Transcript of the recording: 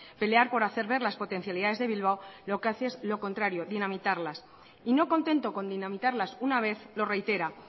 pelear por hacer ver las potencialidades de bilbao lo que hace es lo contrario dinamitarlas y no contento con dinamitarlas una vez lo reitera